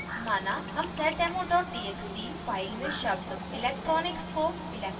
माना हम seddemo txt file में शब्द electronics को electrical से